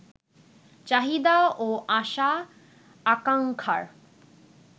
চাহিদা ও আশা-আকাঙ্ক্ষার